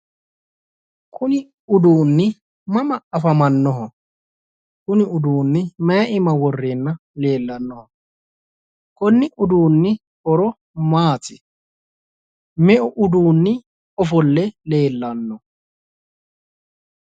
Kuni uduunni mama afamannoho? Kuni uduunni mayi iima worreenna leellanno? Konni uduunni horo maati? Meu uduunni ofolle leellanno?